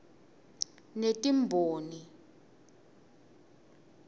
netimboni